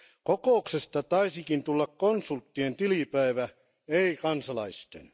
Kokouksesta taisikin tulla konsulttien tilipäivä, ei kansalaisten.